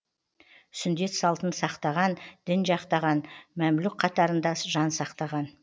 сүндет салтын сақтаған дін жақтаған мәмлүк қатарында жан сақтаған